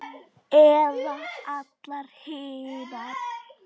Eða allar hinar?